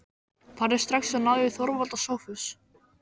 Farðu strax og náðu í Þorvald og Sophus.